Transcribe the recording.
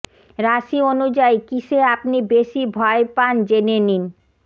রাশি অনুযায়ী কিসে আপনি বেশি ভয় পান জেনে নিন